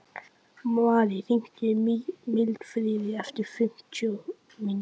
Marí, hringdu í Mildfríði eftir fimmtíu mínútur.